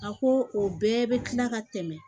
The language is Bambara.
A ko o bɛɛ bɛ kila ka tɛmɛ